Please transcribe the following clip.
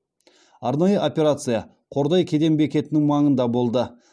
арнайы операция қордай кеден бекетінің маңында болды